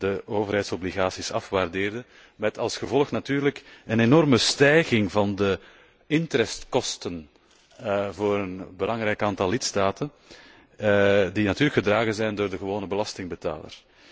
de overheidsobligaties afwaardeerden, met als gevolg natuurlijk een enorme stijging van de interestkosten voor een belangrijk aantal lidstaten, die gedragen zijn door de gewone belastingbetaler.